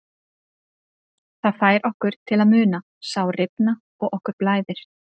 Það fær okkur til að muna, sár rifna og okkur blæðir.